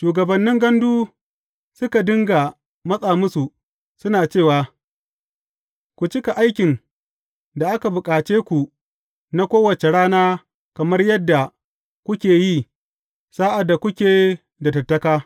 Shugabannin gandu suka dinga matsa musu suna cewa, Ku cika aikin da aka bukace ku na kowace rana kamar yadda kuke yi sa’ad da kuke da tattaka.